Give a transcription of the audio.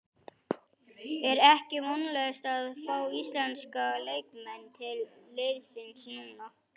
Er ekki vonlaust að fá íslenska leikmenn til liðsins núna?